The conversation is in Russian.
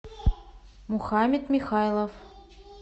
мухаммед михайлов